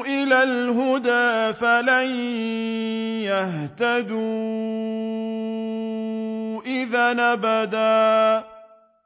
إِلَى الْهُدَىٰ فَلَن يَهْتَدُوا إِذًا أَبَدًا